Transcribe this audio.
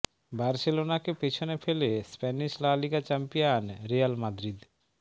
বার্সেলোনাকে পিছনে ফেলে Spanish La Liga champion Real Madrid